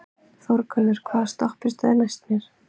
Þórgunnur, hvaða stoppistöð er næst mér?